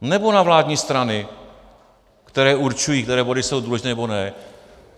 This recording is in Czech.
Nebo na vládní strany, které určují, které body jsou důležité, nebo ne?